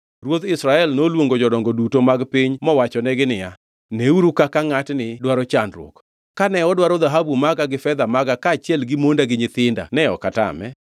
Ruodh Israel noluongo jodongo duto mag piny mowachonegi niya, “Neuru kaka ngʼatni dwaro chandruok! Kane odwaro dhahabu maga gi fedha maga kaachiel gi monda gi nyithinda ne ok atame.”